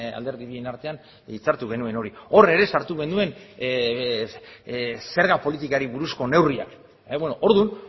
alderdi bien artean hitzartu genuen hori hor ere sartu genuenzerga politikari buruzko neurriak orduan